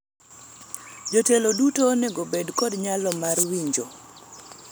jotelo duto onego bed kod nyalo mar winjo